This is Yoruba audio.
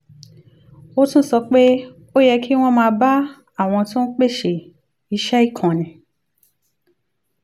ó tún sọ pé ó yẹ kí wọ́n máa bá àwọn tó ń pèsè iṣẹ́ ìkànnì